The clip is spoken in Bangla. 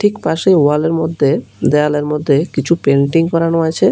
ঠিক পাশেই ওয়াল এর মদ্যে দেয়ালের মদ্যে কিছু পেন্টিং করানো আছে।